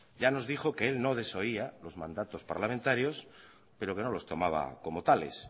ya nos dijo que él no desoía los mandatos parlamentarios pero que no los tomaba como tales